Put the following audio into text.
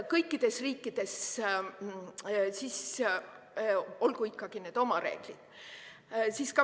Kõikides riikides olgu ikka oma reeglid.